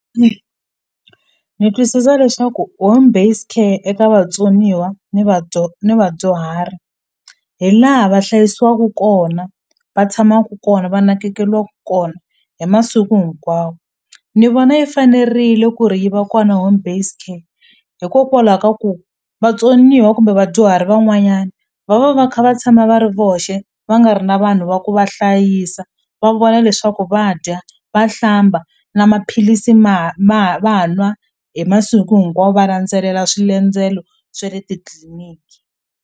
Ni twisisa leswaku home based care eka vatsoniwa ni ni vadyuhari hi laha va hlayisiwaku kona va tshamaku kona va nakekeliwku kona hi masiku hinkwawo ni vona yi fanerile ku ri yi va kona home based care hikokwalaho ka ku vatsoniwa kumbe vadyuhari van'wanyana va va va va kha va tshama va ri voxe va nga ri na vanhu va ku va hlayisa va vona leswaku va dya va hlamba na maphilisi ma ma va nwa hi masiku hinkwawo va landzelela swa le titliliniki.